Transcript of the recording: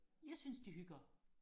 jeg synes de hygger